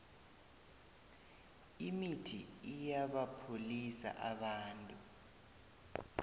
imithi iyabapholisa abantu